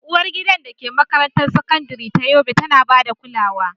Uwargidan da ke makarantar sakandare ta Yobe tana ba da kulawa.